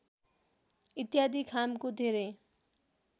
इत्यादि खामको धेरै